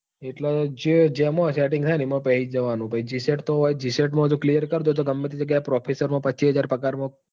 એટલે જેમાં setting થાય એમાં પેસી જ જવા નું એટલે હોય તો g set માં જો clear ડો તો ગમે તે જગ્યા એ professor માં પછી હાજર પગાર માં